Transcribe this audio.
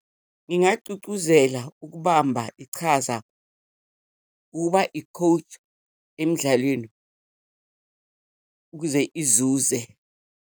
Ngingagcugcuzela ukubamba ichaza, ukuba i-coach emdlalweni ukuze izuze.